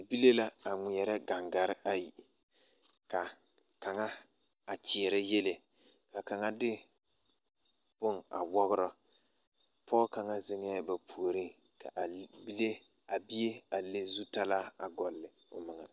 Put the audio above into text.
Bibile la a ŋmeɛrɛ ɡaŋɡare ayi ka a kaŋa a kyeɛrɛ yiele kaŋa de bone a wɔɡerɔ pɔɔ kaŋa zeŋɛɛ ba puoriŋ ka a bie a leŋ zutalaa ɡɔle o meŋɛ.